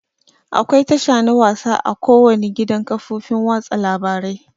Akwai tasha na wasa a ko wani gidan kafofin watsa labarai.